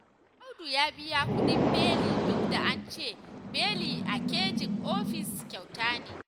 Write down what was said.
Audu ya biya kuɗin beli duk da an ce beli a caji ofis kyauta ne